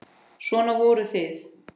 Svona voruð þið.